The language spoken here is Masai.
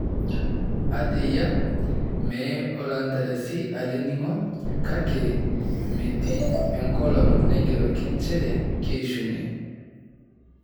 Ata eyia, mee oloontarasi ele ning'o, kake meeti enkolong' naigeroki nchere keishunye.